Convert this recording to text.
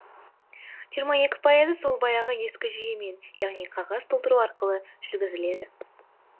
жиырма екі пайызы сол баяғы ескі жүйемен яғни қағаз толтыру арқылы жүргізіледі